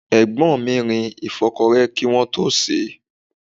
Egbon mi rin ìfọ́kọrẹ́ kí wọ́n tó sèé.